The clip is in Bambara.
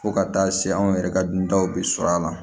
Fo ka taa se anw yɛrɛ ka duntaw bɛ sɔrɔ a la